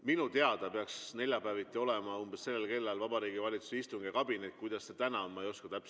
Minu teada peaks neljapäeviti umbes sellel kellaajal olema Vabariigi Valitsuse istung ja kabinet.